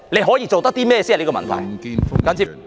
可以做甚麼才是問題。